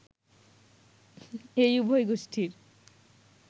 এই উভয় গোষ্টীর